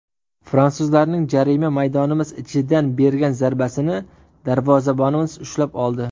Fransuzlarning jarima maydonimiz ichidan bergan zarbasini darvozabonimiz ushlab oldi.